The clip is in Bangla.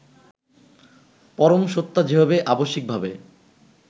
পরমসত্তা যেভাবে আবশ্যিকভাবে